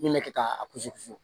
N'i bɛ kɛ k'a kusi ku